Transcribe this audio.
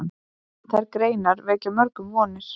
Þær greinar vekja mörgum vonir.